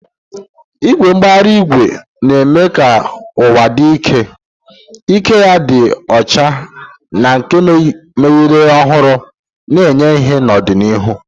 Igwe mbara igwe ga-eme ka ụwa dị ike, ike ya dị ọcha na nke mmeghari ohuru na-enye ìhè n'ọdịnihu.